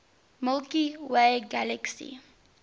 milky way galaxy